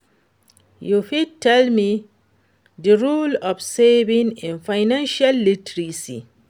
you fit tell me di role of saving in financial literacy?